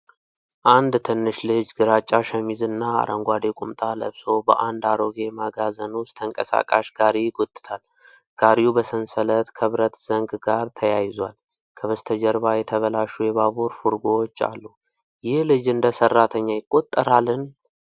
አንድ ትንሽ ልጅ ግራጫ ሸሚዝና አረንጓዴ ቁምጣ ለብሶ በአንድ አሮጌ መጋዘን ውስጥ ተንቀሳቃሽ ጋሪ ይጎትታል። ጋሪው በሰንሰለት ከብረት ዘንግ ጋር ተያይዟል። ከበስተጀርባ የተበላሹ የባቡር ፉርጎዎች አሉ። ይህ ልጅ እንደ ሰራተኛ ይቆጠራልን?